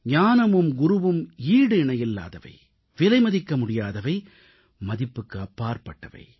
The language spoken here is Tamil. ஞானமும் குருவும் ஈடிணையில்லாதவை விலைமதிக்க முடியாதவை மதிப்புக்கு அப்பாற்பட்டவை